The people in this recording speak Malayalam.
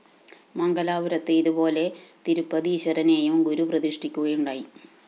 മംഗലാപുരത്ത് ഇതുപോലെ തിരുപ്പതീശ്വരനേയും ഗുരു പ്രതിഷ്ഠിക്കുകയുണ്ടായി